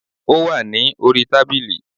Ó wà ní orí tábìlì